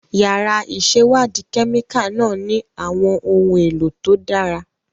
Yàrá ìṣèwádìí kẹ́míkà náà ní àwọn ohun èlò tó dára.